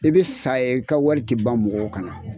I bɛ sa ye i ka wari tɛ ban mɔgɔw kan na.